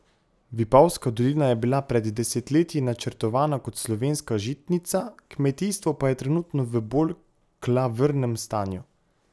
Vipavska dolina je bila pred desetletji načrtovana kot slovenska žitnica, kmetijstvo pa je trenutno v bolj klavrnem stanju.